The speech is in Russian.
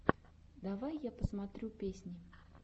давай я посмотрю песни